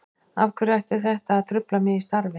Af hverju ætti þetta að trufla mig í starfi?